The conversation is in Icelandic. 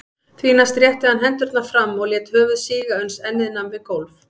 Því næst rétti hann hendurnar fram og lét höfuð síga uns ennið nam við gólf.